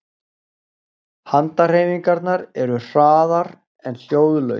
Handahreyfingarnar eru hraðar en hljóðlaus